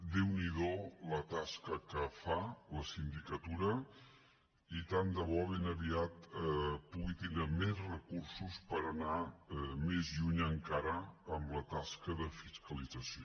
déu n’hi do la tasca que fa la sindicatura i tant de bo ben aviat pugui tenir més recursos per anar més lluny encara amb la tasca de fiscalització